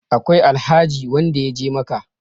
akwai Alhaji wanda ya je Makka